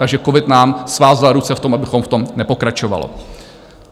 Takže covid nám svázal ruce v tom, abychom v tom nepokračovali.